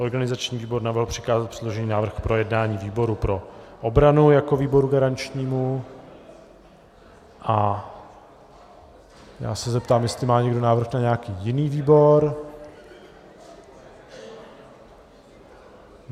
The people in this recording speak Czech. Organizační výbor navrhl přikázat předložený návrh k projednání výboru pro obranu jako výboru garančnímu a já se zeptám, jestli má někdo návrh na nějaký jiný výbor.